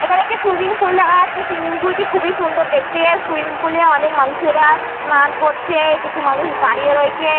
এখানে একটি swimming pool দেখা যাচ্ছে সুইমিং পুল -টি খুবই সুন্দর দেখতে। সুইমিং পুল -এ অনেক মানুষেরা স্নান করছে কিছু মানুষ দাঁড়িয়ে রয়েছে।